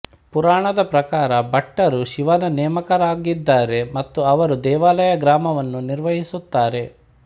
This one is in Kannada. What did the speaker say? ಪುರಾಣದ ಪ್ರಕಾರ ಭಟ್ಟರು ಶಿವನ ನೇಮಕರಾಗಿದ್ದಾರೆ ಮತ್ತು ಅವರು ದೇವಾಲಯ ಗ್ರಾಮವನ್ನು ನಿರ್ವಹಿಸುತ್ತಾರೆ